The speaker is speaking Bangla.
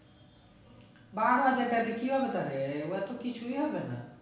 বারো হাজার তাতে কি হবে তাহলে এইবার তো কিছুই হবে না